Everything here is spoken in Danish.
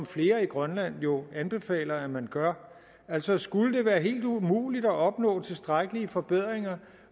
flere i grønland jo anbefaler at man gør altså skulle det være helt umuligt at opnå tilstrækkelige forbedringer